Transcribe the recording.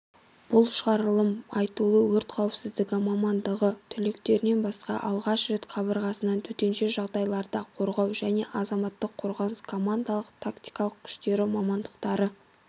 бұл шығарылым айтулы өрт қауіпсіздігі мамандығы түлектерінен басқа алғаш рет қабырғасынан төтенше жағдайларда қорғау және азаматтық қорғаныс командалық тактикалық күштері мамандықтары